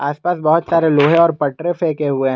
आसपास बहुत सारे लोहे और पटरे फेंके हुए हैं।